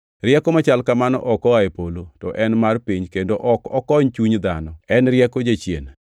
Rieko machal kamano ok oa e polo, to en mar piny kendo ok okony chuny dhano, en rieko jachien.